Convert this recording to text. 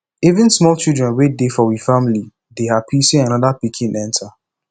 even small children wey dey for we family dey hapi sey anoda pikin enta